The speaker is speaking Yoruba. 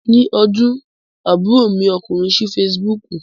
Ni ọdún, àbúrò mi ọkùnrin sí Fesibúùkù.